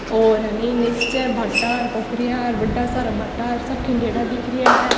और अन्नी निचे भाटा और पोखरिया और बड़ा सारा भाटा --